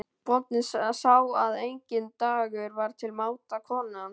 Bóndinn sá að enginn dagur var til máta konu hans.